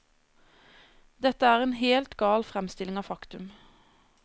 Dette er en helt gal fremstilling av faktum.